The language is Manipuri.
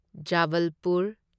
ꯖꯕꯜꯄꯨꯔ